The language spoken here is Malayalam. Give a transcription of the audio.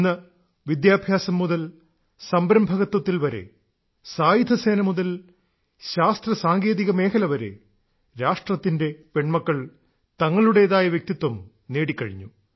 ഇന്ന് വിദ്യാഭ്യാസം മുതൽ സംരംഭകത്വത്തിൽ വരെ സായുധസേന മുതൽ ശാസ്ത്ര സാങ്കേതിക മേഖലയിൽ വരെ രാഷ്ട്രത്തിന്റെ പെൺമക്കൾ തങ്ങളുടേതായ വ്യക്തിത്വം നേടിക്കഴിഞ്ഞു